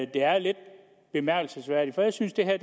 det er lidt bemærkelsesværdigt for jeg synes det her